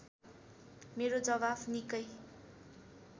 मेरो जवाफ निकै